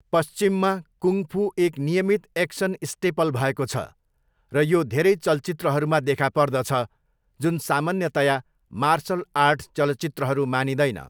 पश्चिममा, kung fu एक नियमित एक्सन स्टेपल भएको छ, र यो धेरै चलचित्रहरूमा देखा पर्दछ जुन सामान्यतया 'मार्सल आर्ट' चलचित्रहरू मानिँदैन।